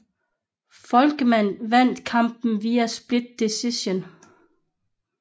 Volkmann vandt kampen via split decision